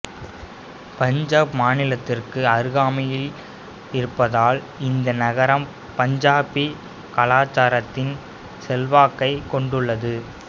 பஞ்சாப் மாநிலத்திற்கு அருகாமையில் இருப்பதால் இந்த நகரம் பஞ்சாபி கலாச்சாரத்தின் செல்வாக்கைக் கொண்டுள்ளது